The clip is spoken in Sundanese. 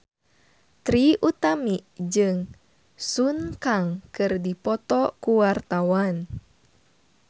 Trie Utami jeung Sun Kang keur dipoto ku wartawan